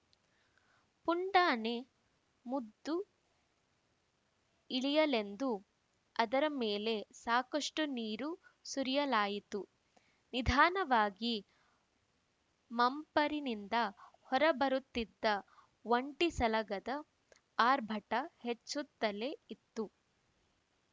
ಪುಂಡಾನೆ ಮುದ್ದು ಇಳಿಯಲೆಂದು ಅದರ ಮೇಲೆ ಸಾಕಷ್ಟು ನೀರು ಸುರಿಯಲಾಯಿತು ನಿಧಾನವಾಗಿ ಮಂಪರಿನಿಂದ ಹೊರ ಬರುತ್ತಿದ್ದ ಒಂಟಿ ಸಲಗದ ಆರ್ಭಟ ಹೆಚ್ಚುತ್ತಲೇ ಇತ್ತು